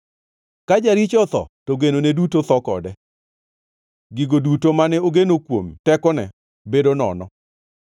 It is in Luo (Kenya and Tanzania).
Ka jaricho otho, to genone duto tho kode, gigo duto mane ogeno kuom tekone bedo nono.